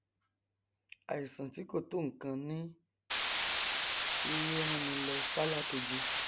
àìsàn tí kò tó nkan ní í ránni lọ sálákeji